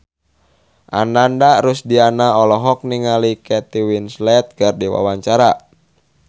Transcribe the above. Ananda Rusdiana olohok ningali Kate Winslet keur diwawancara